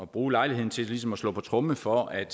bruge lejligheden til ligesom at slå på tromme for at